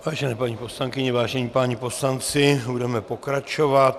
Vážené paní poslankyně, vážení páni poslanci, budeme pokračovat.